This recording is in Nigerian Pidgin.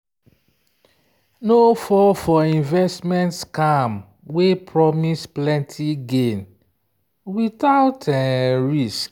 no fall for investment scam wey promise plenty gain without risk.